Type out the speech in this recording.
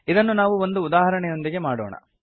ಇದನ್ನು ನಾವು ಒಂದು ಉದಾಹರಣೆಯೊಂದಿಗೆ ಮಾಡೋಣ